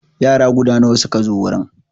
Yara guda nawa suka zo wurin?